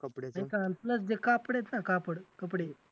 जे कापड आहेत ना कापड, कपडे